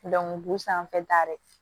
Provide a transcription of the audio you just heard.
bu sanfɛta de